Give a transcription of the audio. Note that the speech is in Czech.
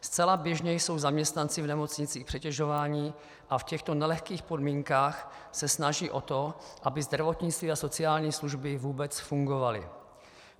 Zcela běžně jsou zaměstnanci v nemocnicích přetěžováni a v těchto nelehkých podmínkách se snaží o to, aby zdravotnictví a sociální služby vůbec fungovaly.